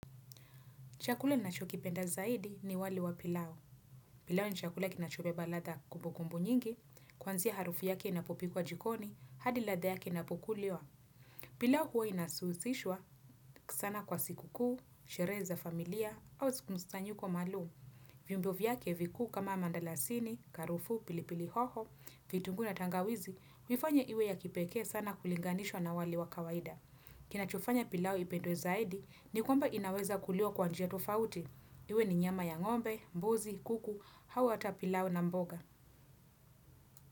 Chakule nachokipenda zaidi ni wali wa pilau. Pilau ni chakula kinachobeba ladha kumbu kumbu nyingi, kuanzia harufu yake inapopikwa jikoni, hadi ladha yake inapukuliwa. Pilau huwa inasuusishwa sana kwa sikukuu, sherehe za familia, au siku mkusanyiko maalum. Vyumbo vyake vikuu kama mandalasini, karufu, pilipili hoho, vitungu na tangawizi, huifanya iwe ya kipeke sana kulinganishwa na wali wa kawaida. Kinachofanya pilau ipendwe zaidi ni kwamba inaweza kuliwa kwa njia tofauti. Iwe ni nyama ya ngombe, mbuzi, kuku, au hata pilau na mboga.